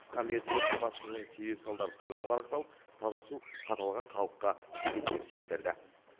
қысқа мерзімде су тапшылығының себеп салдары толық анықталып таза су қаталаған халыққа жетеді деп сендірді